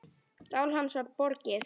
Sál hans var borgið.